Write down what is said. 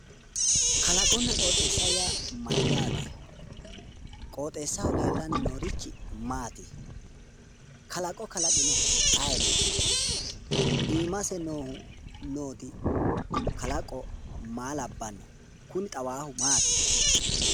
Kalaqonna qooxeessa yaa mayyaate? Qooxeessaho leellanni noorichi maati? Kalaqo kalaqinohu ayeeti? Iimase nooti kalaqo maa labbanno? Kuni xawaahu maati?